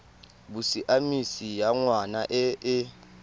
bosiamisi ya ngwana e e